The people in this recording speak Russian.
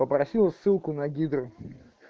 попросила ссылку на гидру